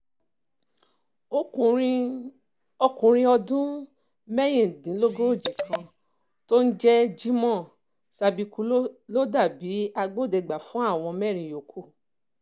ọkùnrin ẹni ọdún márùndínlógójì kan tó ń jẹ́ jimoh sabiku ló dà bíi agbódegbà fún àwọn mẹ́rin yòókù